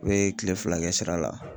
U ye kile fila kɛ sira la .